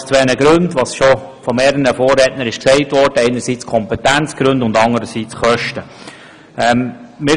Dies aus zwei Gründen, die bereits von mehreren Vorrednern erwähnt wurden: einerseits aus Kompetenzgründen und anderseits aus Kostengründen.